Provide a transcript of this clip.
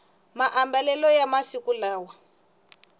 maambalelo ya masiku lawa